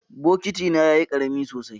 Bokitina yayi karami sosai.